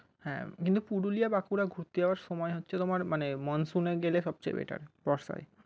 হ্যাঁ কিন্তু পুরুলিয়া বাঁকুড়া ঘুরতে যাওয়ার সময় হচ্ছে তোমার মানে monsoon এ গেলে সবচেয়ে better